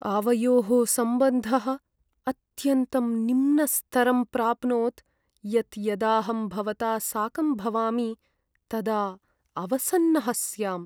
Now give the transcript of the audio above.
आवयोः सम्बन्धः अत्यन्तं निम्नस्तरं प्राप्नोत् यत् यदाहं भवता साकं भवामि तदा अवसन्नः स्याम्।